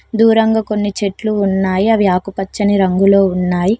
దూరంగా కొన్ని చెట్లు ఉన్నాయి అవి ఆకుపచ్చని రంగులో ఉన్నాయ్.